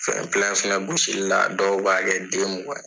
gosili la dɔw b'a kɛ den mugan ye.